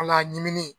Ala ɲimininen